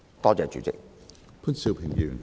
多謝主席。